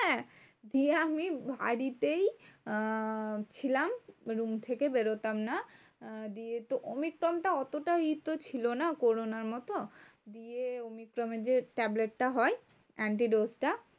দিয়ে আমি বাড়িতেই আহ ছিলাম room থেকে বেরোতাম না। দিয়ে তো omicron টা অতটা ই তো ছিল না corona র মতো। দিয়ে omicron এর যে tablet টা হয় antidote টা